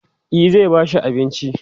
e zai ba shi abinci